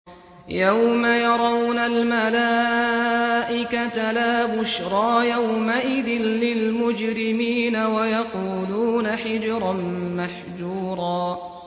يَوْمَ يَرَوْنَ الْمَلَائِكَةَ لَا بُشْرَىٰ يَوْمَئِذٍ لِّلْمُجْرِمِينَ وَيَقُولُونَ حِجْرًا مَّحْجُورًا